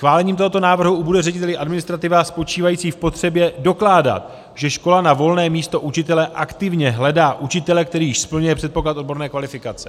Schválením tohoto návrhu ubude řediteli administrativa spočívající v potřebě dokládat, že škola na volné místo učitele aktivně hledá učitele, který již splňuje předpoklad odborné kvalifikace.